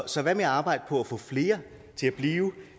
så hvad med at arbejde på at få flere til at blive